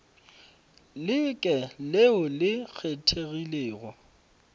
le ke leo le kgethegilego